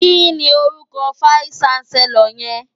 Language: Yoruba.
Kini órúkò fáìsí ṣánsèlòr yèn?